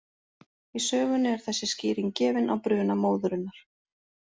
Í sögunni er þessi skýring gefin á bruna móðurinnar: